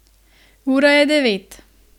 Ura je devet.